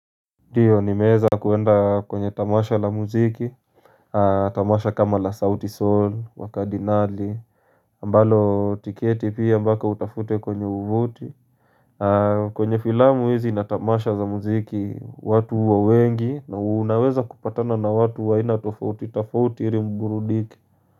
Ndiyo nimeza kuenda kwenye tamasha la muziki. Tamasha kama la Southie Soul, wa Cardinale Ambalo tiketi pia mpaka utafute kwenye uvuti. Kwenye filamu hizi na tamasha za muziki watu huwa wengi. Na unaweza kupatana na watu wa aina tofauti, tofauti iri mburudike.